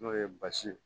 N'o ye basi ye